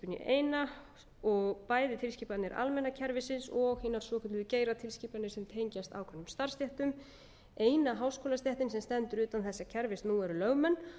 í eina bæði tilskipanir almenna kerfisins og hinar svokölluðu geiratilskipanir sem tengjast ákveðnum starfsstéttum eina háskólastéttin sem stendur utan þessa kerfis nú eru lögmenn